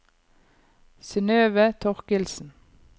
Synøve Thorkildsen